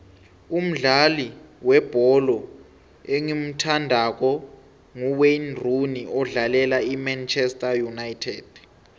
umdlali webholo engimuthandako nguwayne rooney odlalela imanchester united